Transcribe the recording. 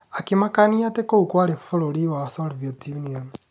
Akĩmakania atĩ kũu kwarĩ bũrũri wa Soviet Union.